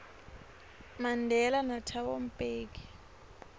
mandela nathabo mbeki